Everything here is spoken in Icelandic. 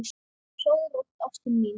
Sofðu rótt, ástin mín.